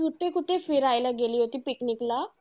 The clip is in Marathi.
कुठे कुठे फिरायला गेली होती picnic ला?